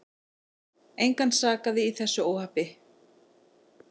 Engan sakaði í þessu óhappi.